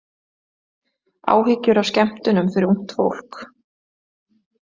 Áhyggjur af skemmtunum fyrir ungt fólk